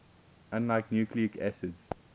unlike nucleic acids